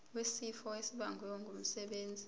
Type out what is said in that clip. wesifo esibagwe ngumsebenzi